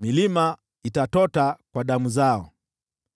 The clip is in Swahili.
milima itatota kwa damu zao.